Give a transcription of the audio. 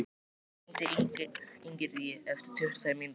Laufey, hringdu í Ingiríði eftir tuttugu og tvær mínútur.